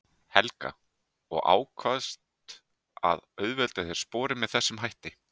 Helga: Og ákvaðst að auðvelda þér sporin með þessum hætti?